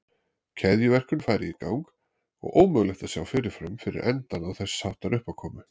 Keðjuverkun færi í gang og ómögulegt að sjá fyrirfram fyrir endann á þess háttar uppákomu.